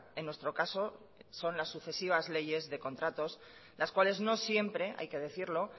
en nuestro caso son la sucesivas leyes de contratos las cuales no siempre hay que decirlo